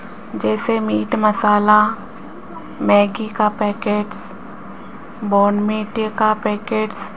जैसे meat masala Maggi का packets Bournvita का पैकेट्स --